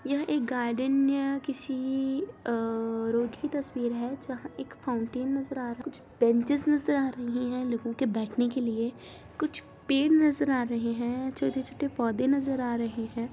यह एक गार्डन या किसी रोड की तस्वीर है जहां एक फाउंटेन नजर आ रहा है कुछ बेंचीस नजर आ रही है लोगो बेठने के लिए कुछ पेड़ नजर आ रहे हैं छोटे-छोटे पोधे नजर आ रहे हैं।